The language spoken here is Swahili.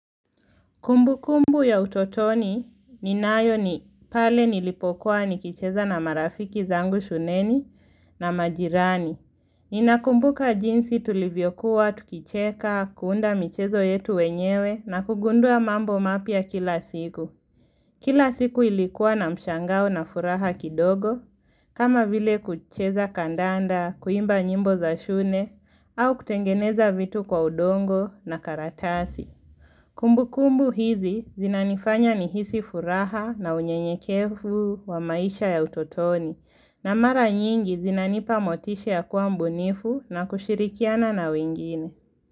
Kumbukumbu ya utotoni ninayo ni pale nilipokuwa nikicheza na marafiki zangu shuleni na majirani. Ninakumbuka jinsi tulivyokuwa, tukicheka, kuunda michezo yetu wenyewe na kugundua mambo mapya kila siku. Kila siku ilikuwa na mshangao na furaha kidogo. Kama vile kucheza kandanda, kuimba nyimbo za shune, au kutengeneza vitu kwa udongo na karatasi. Kumbukumbu hizi zinanifanya nihisi furaha na unyenyekefu wa maisha ya utotoni na mara nyingi zinanipa motisha ya kuwa mbunifu na kushirikiana na wingine.